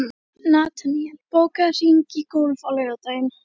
Nataníel, bókaðu hring í golf á laugardaginn.